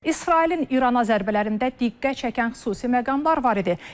İsrailin İrana zərbələrində diqqət çəkən xüsusi məqamlar var idi.